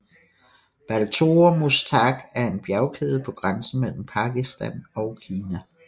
Baltoro Muztagh en en bjergkæde på grænsen mellem Pakistan og Kina